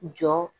Jɔ